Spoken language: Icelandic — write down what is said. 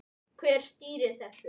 Hver stýrir þessu?